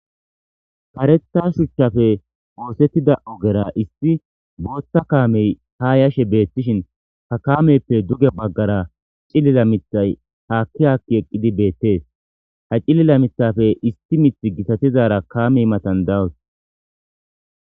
Paretha shuchchafe woosettida ogera isti boothta kaamey ha yashe beettishin ha kaameyppe duge baggara cilila mithay haakki haakki eqqidi beettees ha cilila mithafe isti mith gitatizara kaamey matan dawus